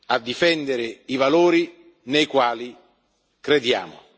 a difendere i valori nei quali crediamo.